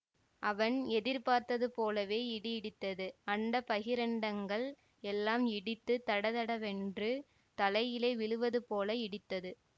அவன் எதிர்பார்த்தது போலவே இடி இடித்தது அண்ட பகிரண்டங்கள் எல்லாம் இடித்து தடதடவென்று தலையிலே விழுவதுபோல இடித்தது